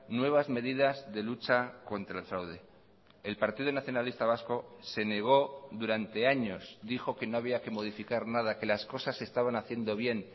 nuevas medidas de lucha contra el fraude el partido nacionalista vasco se negó durante años dijo que no había que modificar nada que las cosas estaban haciendo bien